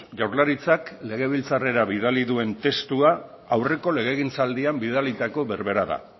jaurlaritzak legebiltzarrera bidali duen testua aurreko legegintzaldian bidalitako berbera da